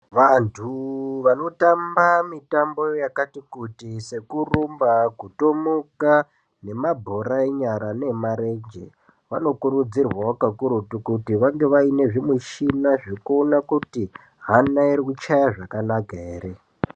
Vantu vanotamba mitambo yakati kuti sekurumba kutomuka nemabhora enyara nemarenje vanokurudzirwa kakurutu kuti vange vane zvimushina zvekuona kuti Hana iri kuchaya zvakanaka here.